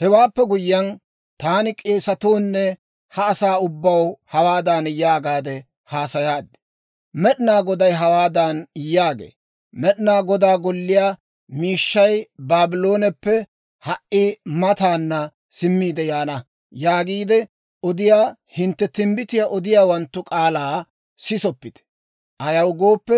Hewaappe guyyiyaan, taani k'eesatoo nne ha asaa ubbaw hawaadan yaagaade haasayaad; «Med'inaa Goday hawaadan yaagee; Med'inaa Godaa Golliyaa miishshay Baablooneppe ha"i mataana simmiide yaana» yaagiide odiyaa hintte timbbitiyaa odiyaawanttu k'aalaa sisoppite. Ayaw gooppe,